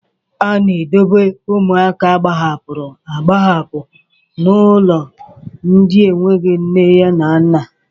A na-edobe ụmụaka agbahapụrụ agbahapụ na ụlọ ndị enweghị nne na nna.